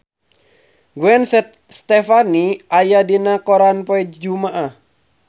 Gwen Stefani aya dina koran poe Jumaah